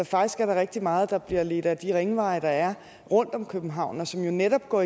faktisk er der rigtig meget der bliver ledt ad de ringveje der er rundt om københavn og som jo netop går